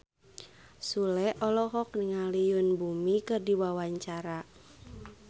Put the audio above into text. Sule olohok ningali Yoon Bomi keur diwawancara